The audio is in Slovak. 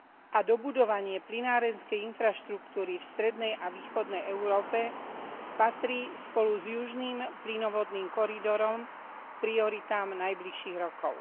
a dobudovanie plynárenskej infraštruktúry v strednej a východnej Európe patrí spolu s južným plynovodným koridorom k prioritám najbližších rokov.